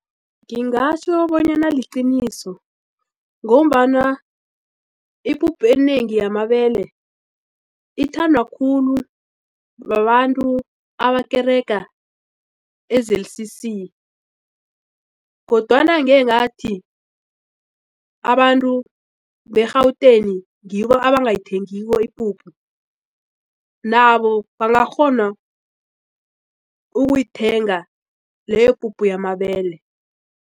Ngingatjho bonyana liqiniso ngombana ipuphu enengi yamabele ithandwa khulu babantu abakerega e-Z_C_C kodwana angengathi abantu be-Gauteng ngibo abangayithengiko ipuphu nabo bangakghona ukuyithenga leyo puphu yamabele.